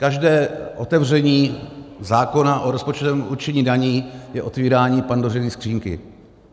Každé otevření zákona o rozpočtovém určení daní je otevírání Pandořiny skříňky.